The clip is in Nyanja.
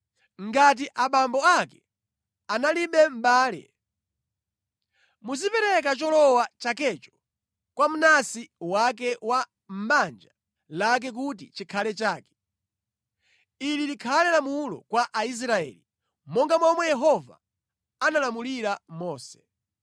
Ngati abambo ake analibe mʼbale, muzipereka cholowa chakecho kwa mnansi wake wa mʼbanja lake kuti chikhale chake. Ili likhale lamulo kwa Aisraeli, monga momwe Yehova analamulira Mose.’ ”